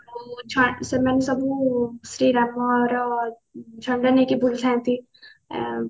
ସେମାନେ ସବୁ ଶ୍ରୀରାମର ଛନ୍ଦ ନେଇକି ବୁଲୁଥାଆନ୍ତି ଏ